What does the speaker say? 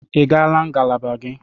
Ị gara ngalaba gị?